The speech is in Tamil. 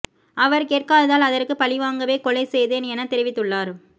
அவர் கேட்காததால் அதற்குப் பழிவாங்கவே கொலை செய்தேன் என தெரிவித்துள்ளார்